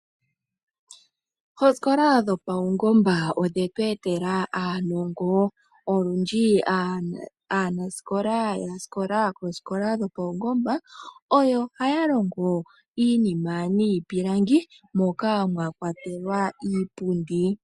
Oosikola dhopaungomba odhetu etela uunongo. Olundji aanasikola yasikola hono oyo haya longo iinima niipilangi moka mwakwatelwa iipundi.